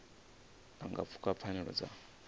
a nga pfuka pfanelo dza